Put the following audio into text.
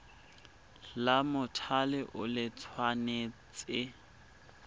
la mothale o le tshwanetse